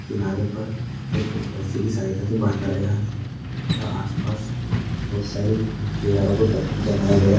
किनारे पर एक रस्सी की सहायता से बाँधा गया है तथा आस पास बहुत सारी दीवारों पर पत्थर जामाये--